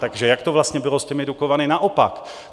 Takže jak to vlastně bylo s těmi Dukovany - naopak.